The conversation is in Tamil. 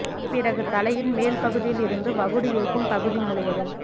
பிறகு தலையின் மேல் பகுதியில் இருந்து வகுடு இருக்கும் பகுதி முழுவதும்